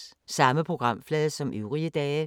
Samme programflade som øvrige dage